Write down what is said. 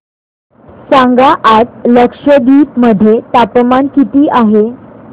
सांगा आज लक्षद्वीप मध्ये तापमान किती आहे